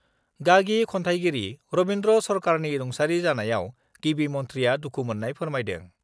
गागि खन्थाइगिरि रबिन्द्र सरकारनि रुंसारि जानायाव गिबि मन्थ्रिआ दुखु मोन्नाय फोरमायदों